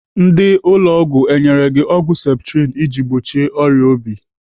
Ndị ụlọ ọgwụ enyere gị ọgwụ septrin iji gbochie ọrịa obi?